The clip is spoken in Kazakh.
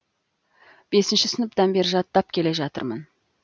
бесінші сыныптан бері жаттап келе жатырмын